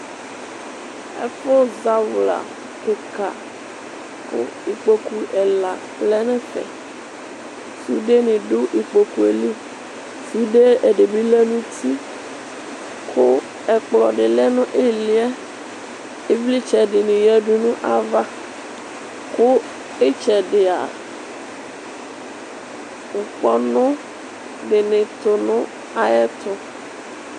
Ɛfu zawla kika kʋ ikpokʋ ɛla lɛnʋ ɛfɛ sude ni dʋ ikpokʋeli sude ɛdibi lɛ nʋ uti kʋ ɛkplɔ dilɛ kʋ ɛkplɔdi lɛnʋ iliyɛ ivlitsɛ dini yadʋ nʋ ayʋ ava kʋ itsɛdia ŋkpɔnʋ dini tʋ nʋ ayʋ ɛtʋ